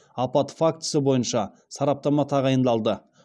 апат фактісі бойынша сараптама тағайындалды